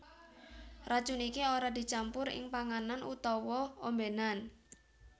Racun iki ora dicampur ing panganan utawa ombénan